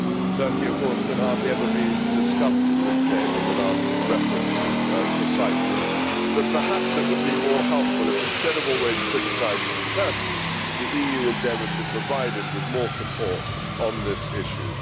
Turkey, of course, can hardly ever be discussed in this Chamber without reference to Cyprus, but perhaps it would be more helpful if instead of always criticising Turkey, the EU endeavoured to provide it with more support on this issue.